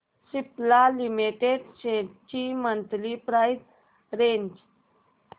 Cipla limited shares ची monthly price range